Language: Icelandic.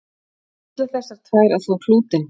ætla þessar tvær að þvo klútinn